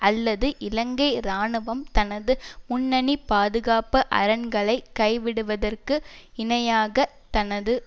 அல்லது இலங்கை இராணுவம் தனது முன்னணி பாதுகாப்பு அரண்களை கை விடுவதற்கு இணையாக தனது